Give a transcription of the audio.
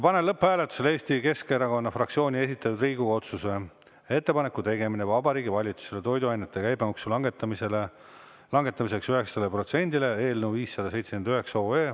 Panen lõpphääletusele Eesti Keskerakonna fraktsiooni esitatud Riigikogu otsuse "Ettepaneku tegemine Vabariigi Valitsusele toiduainete käibemaksu langetamiseks 9-le protsendile" eelnõu 579.